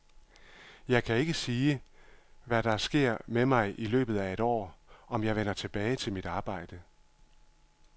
Jeg kan ikke selv sige, hvad der sker med mig i løbet af et år, om jeg vender tilbage til mit arbejde.